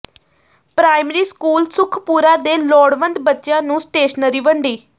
primary school Sukhpura ਦੇ ਲੋੜਵੰਦ ਬੱਚਿਆਂ ਨੂੰ ਸਟੇਸ਼ਨਰੀ ਵੰਡੀ